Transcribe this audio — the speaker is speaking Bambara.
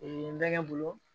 n bɛ bolo